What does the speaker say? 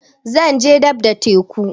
Zan je dab da teku